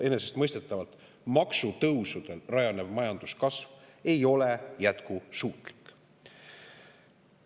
Enesestmõistetavalt maksutõusudel rajanev majanduskasv ei ole jätkusuutlik.